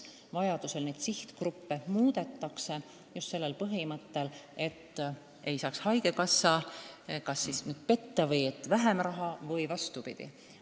Vajadusel neid sihtgruppe muudetakse, jälgides, et haigekassa ei saaks vähem raha või vastupidi.